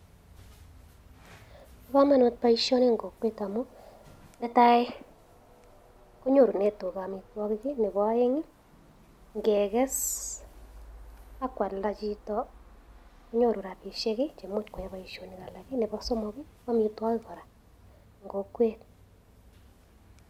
Bo komonut boishoni en kokwet amun, netai kongorunen tugaa amitwogiik I,Nebo oeng i ingeges ak kualdaa chito konyoru rabisiek cheimuch koyaen chito boishonik Nebo somok ko amitwogiik kora en kokwet